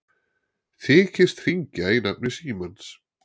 Þykist hringja í nafni Símans